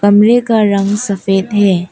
कमरे का रंग सफेद है।